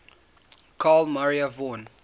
carl maria von